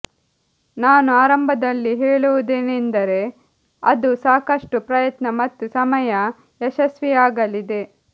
ನಾನು ಆರಂಭದಲ್ಲಿ ಹೇಳುವುದೇನೆಂದರೆ ಅದು ಸಾಕಷ್ಟು ಪ್ರಯತ್ನ ಮತ್ತು ಸಮಯ ಯಶಸ್ವಿಯಾಗಲಿದೆ